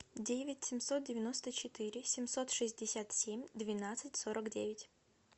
девять семьсот девяносто четыре семьсот шестьдесят семь двенадцать сорок девять